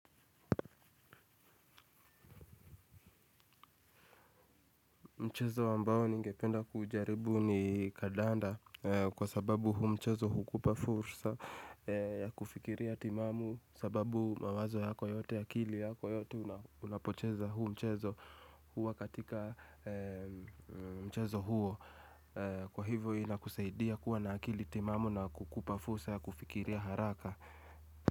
Mchezo ambao ningependa kujaribu ni kandanda kwa sababu huu mchezo hukupa fursa ya kufikiria timamu sababu mawazo yako yote, akili yako yote unapocheza huu mchezo huwa katika mchezo huo. Kwa hivyo inakusaidia kuwa na akili timamu na kukupa fursa ya kufikiria haraka.